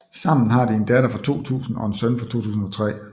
Sammen har de en datter fra 2000 og en søn fra 2003